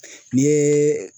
N'i ye